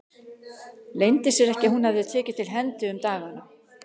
Leyndi sér ekki að hún hafði tekið til hendi um dagana.